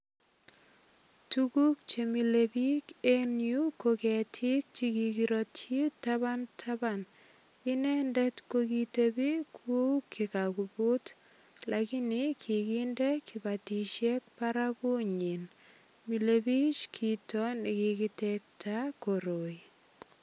Tuguk che milei biik en yu ko ketik che kikirotyi taban taban. Inendet ko kitebi kuu kikapukut lagini kikinde kibatisiek baragunyin. Mile biichkito nekikitekta koroi.